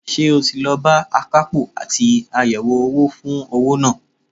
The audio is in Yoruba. Ṣé o ti lọ bá akapo àti àyẹ̀wò owó fún owó náà?